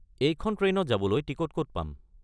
এইখন ট্ৰেইনত যাবলৈ টিকট ক’ত পাম?